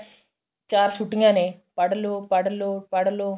ਚਾਰ ਛੁੱਟੀਆਂ ਨੇ ਪੜ੍ਹ ਲੋ ਪੜ੍ਹ ਲੋ ਪੜ੍ਹ ਲੋ